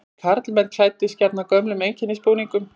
Karlmenn klæddust gjarnan gömlum einkennisbúningum.